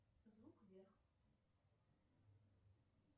звук вверх